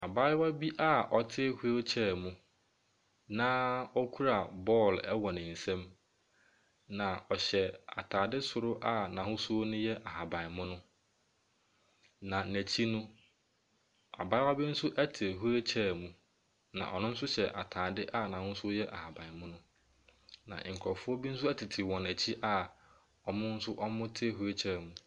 Beaeɛ a wosua akutrukubɔ, abranteɛ a ɔhyɛ ataade kɔkɔɔ na baako nso hyɛ ataare ash na wɔrebɔ akutrukɔ no. Baako nso a ɔredi refree gyina akyire rehwɛ wɔn.